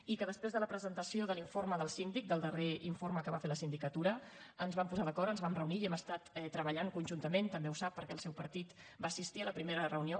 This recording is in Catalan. i després de la presentació de l’informe del síndic del darrer informe que va fer la sindicatura ens vam posar d’acord ens vam reunir i hem estat treballant conjuntament també ho sap perquè el seu partit va assistir a la primera reunió